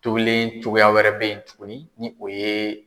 Tobilen cogoya wɛrɛ be yen tuguni ni o ye